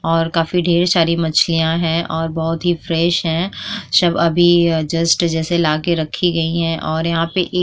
और काफी ढेर सारी मछलियां हैं और बोहोत फ्रेश है सब अभी जस्ट जैसे लाके रखी गई हैं और यहां पे --